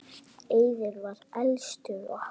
Eiður var elstur okkar.